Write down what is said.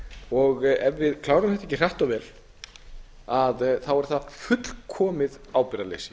og ef við klárum þetta ekki hratt og vel er það fullkomið ábyrgðarleysi